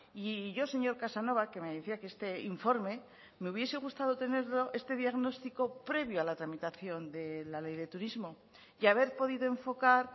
y yo señor casanova que me decía que este informe me hubiese gustado tenerlo este diagnóstico previo a la tramitación de la ley de turismo y haber podido enfocar